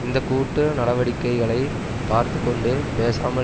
இந்த கூட்டு நடவடிக்கைகளை பார்த்து கொண்டு பேசாமல்